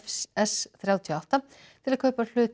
s þrjátíu og átta til að kaupa hlut